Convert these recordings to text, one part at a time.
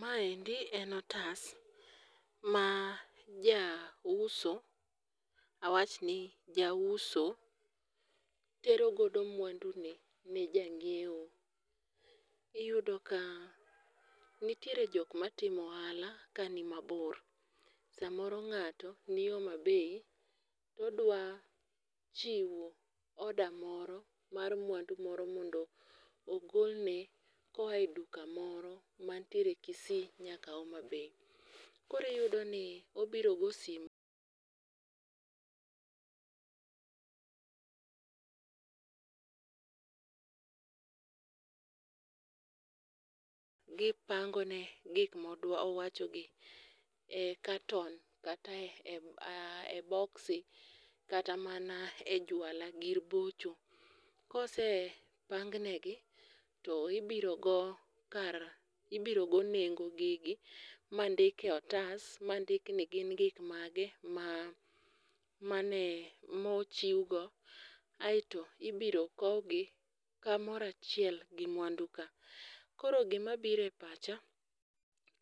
Maendi en otas, ma jauso ,awachni jauso tero godo mwandune ne jang'iewo, iyudo ka nitiere jok matimo ohala kanimabor, samoro ng'ato ni Homabay, todwa chiwo order moro mar mwandu moro mondo ogolne koa e duka moro mantiere Kisii nyaka Homabay. Koro iyudoni obiro go simu Gipangone gik mowachogi e carton kata e boksi kata mana e jwala, gir bocho. Kosepang negi to ibiro go nengo gigi ma ndik e otas ma ndik ni gin gik mage mochiwgo aeto ibiro kowgi kamoro achiel gi mwanduka. Koro gimabiro e pacha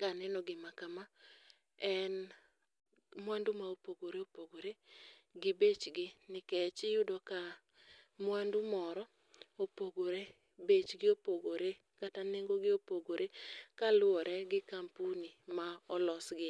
kaneno gima kama en mwandu ma opogore opogore gi bechgi nikech iyudo ka mwandu moro opogore, bechgi opogore kata nengogi opogore kaluwore gi kampuni ma olosgie.